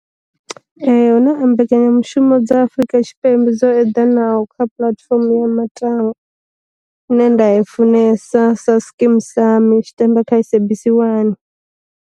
Hu na mbekanyamushumo dza Afurika Tshipembe dzo eḓanaho kha puḽatifomo ya matangwa ine nda i funesa Skeem Saam tshi tamba kha SABC 1.